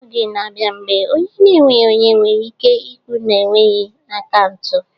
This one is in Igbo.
Oge ga-abịa mgbe ọ nweghị onye nwere ike ikwu na enweghị akaụntụ